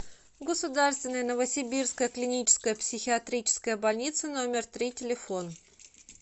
государственная новосибирская клиническая психиатрическая больница номер три телефон